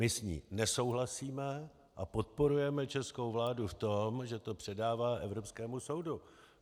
My s ní nesouhlasíme a podporujeme českou vládu v tom, že to předává Evropskému soudu.